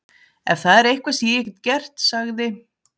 Ef það er eitthvað sem ég get gert- sagði